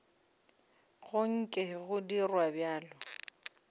go nke go dirwa bjalo